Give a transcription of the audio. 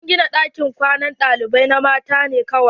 Sun gina ɗakin kwanan ɗalibai na mata ne kawai.